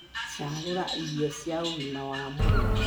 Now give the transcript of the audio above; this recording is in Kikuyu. cagũra irio cia ũgima wa mwĩrĩ